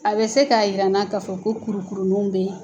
A bɛ se k'a yir'an k'a fɔ ko kurukuruninw bɛ ye.